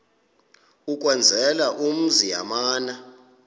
ukwenzela umzi yamana